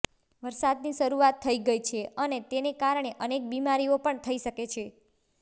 વરસાદની શરૂઆત થઇ ગઇ છે અને તેને કારણે અનેક બીમારીઓ પણ થઇ શકે છે